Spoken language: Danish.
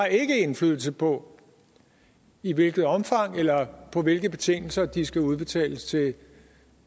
indflydelse på i hvilket omfang eller på hvilke betingelser de skal udbetales til